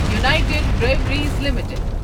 united Breweries limited